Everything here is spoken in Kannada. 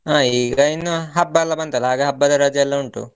ಹ ಈಗ ಇನ್ನು ಹಬ್ಬ ಎಲ್ಲ ಬಂತಲ್ಲ ಹಾಗೆ ಹಬ್ಬದ ರಜೆ ಎಲ್ಲ ಉಂಟು.